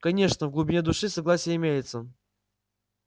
конечно в глубине души согласие имеется